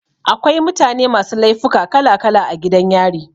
Akwai mutane masu laifuka kala kala a gidan yari.